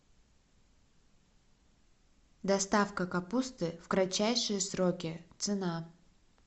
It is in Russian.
доставка капусты в кратчайшие сроки цена